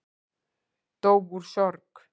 Dó úr sorg